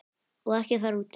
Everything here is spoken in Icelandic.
Og ekki fara út.